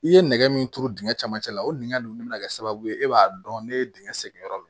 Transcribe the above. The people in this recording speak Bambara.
I ye nɛgɛ min turu dingɛ camancɛ la o dingɛ ninnu de bɛ na kɛ sababu ye e b'a dɔn ne ye dingɛ segin yɔrɔ min